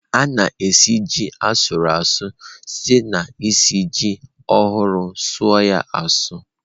A na-esi ji asu a su site na-esi ji ohurụ suọ ya asụ.